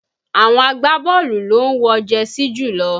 Àwọn agbábọ́ọ̀lù ló ń wọ jẹsí jùlọ